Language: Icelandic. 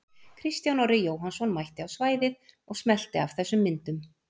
Kristján Orri Jóhannsson mætti á svæðið og smellti af þessum myndum.